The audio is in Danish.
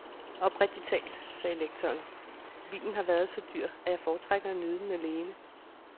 Oprigtig talt, sagde lektoren, vinen har været så dyr, at jeg foretrækker at nyde den alene.